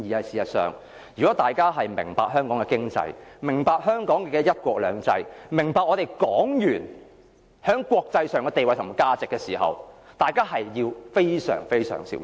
事實上，如果大家明白香港的經濟，明白香港的"一國兩制"，明白港元於國際上的地位及價值，大家便應非常非常小心。